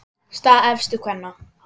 Staða efstu kvenna